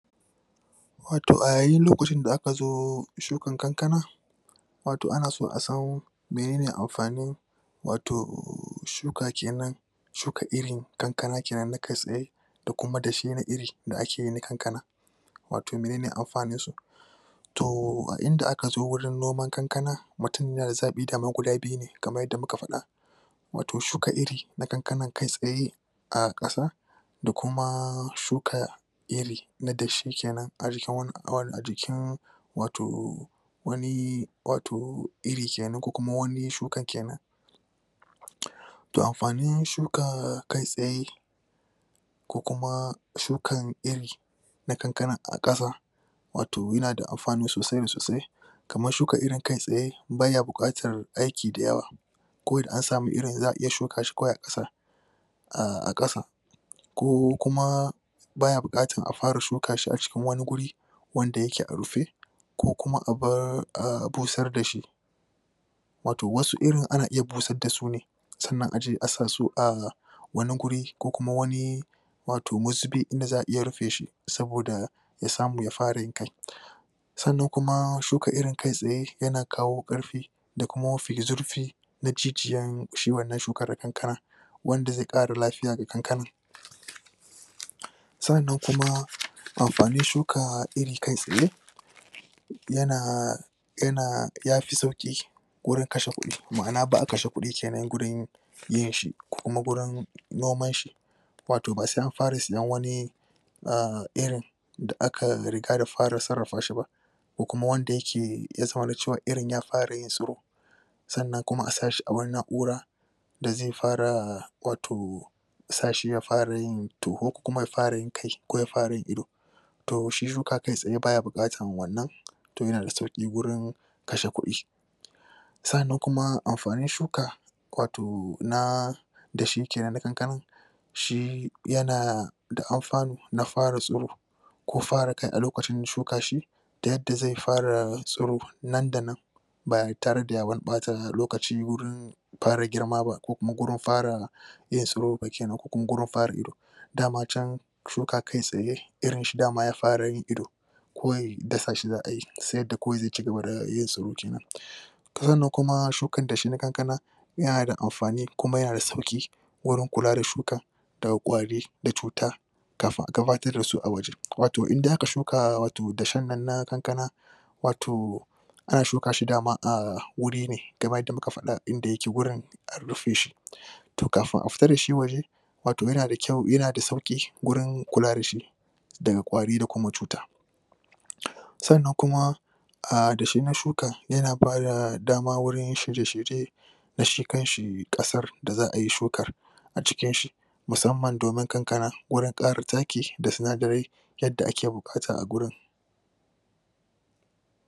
Wato a yayin lokacin da aka zo shukan kankana, wato ana so a san, menene amfanin wato shuka kenan shuka irin kankana kenan na da kuma da iri da ake kankana wato menene amfanin su, toh! a inda aka zo wurin noman kankana, mutum guda biyu ne kamar yadda muka fad wato shuka iri na kankana, kai tsaye a kasa da kuma shuka iri na kenan a jikin wato wane, wato, iri kenan ko wane shuka kenan toh amfanin shuka kai tsaye ko kuma shukan iri na kankana a kasa wato yana da amfani sosaii da sosai kaman shukan irin kai tsaye, baya bukatan aiki da yawa ko da an samu irin za'a iya shuka shi ko a kasa a kasa, ko kuma baya bukatan a fara shuka shi a cikin wane gure wanda yake a rufe ko kuma a bosar da shi wato wasu irin ana iya bosar da su ne tsannan a je a' sa su a' wane wure ko kuma wane wato musipi, inda za a iya rufe shi, saboda ya samu, ya fara yin kai Tsannan kuma shuka iri kai tsaye yana kawo karfi da kuma zurfi na jijiyan shi wannan shukar kankana wanda ze kara lafiya da kankanan Tsannan kuma, amfanin shuka iri kai tsaye yana yana, ya fi sauki wurin kashe kudi, ma'ana ba kashe kudi kenan wurin yin shi, kuma wurin noman shi wato ba sai an fara sayan wani iri da aka da fara tsarrafa shi ba ko kuma wanda yace, ya san wane cewa irin ya fara yin suru tsanan kuma a sha shi a wane na'ura da zai fara wato, sha shi ya fara yin toho ko kuma ya fara yin ido toh shi shuka kai tsaye ba ya bukatan wannan toh yana da sauki wurin kashe kudi. Tsannan kuma, amfanin shuka wato na da shi kenan na kankanan, shi yana da amfano na fara suro ko fara a lokacin shuka shi da yadda ze fara suro nan da nan ba tare da ya wane bata lokaci wurin fara girma ba ko kuma wurin fara yin soro kenan ko kuma wurin fara ido. Dama can shuka kai tsaye, irin shi daman ya fara yin ido ko dasa shi za'a yi, sai da kowai ze cigaba da yin soroci na Sauran na kuma shukan dashi na kankana yana da amfani kuma yana da sauki wuren kula da shuka daga kwari da cuta gabatar da su a waje. Wato in de a ka shuka wato dashan na kankana wato ana shuka shi daman a wure na, inda yake wurin, a rufe shi toh kafin a fita da shi waje wato yana da kyau, yana da sauki wurin kula da shi daga kwari da kuma cuta Tsannan kuma, a dashe da shukan, ya na ba da dama wurin da shi kan shi kasa da za'a yi shukar a cikin shi musamman domin kankana, wurin kara taki da sunadarai